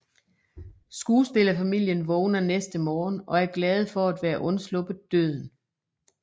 Skuespillerfamilien vågner næste morgen og er glade for at være undsluppet døden